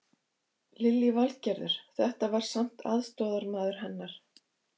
Lillý Valgerður: Þetta var samt aðstoðarmaður hennar?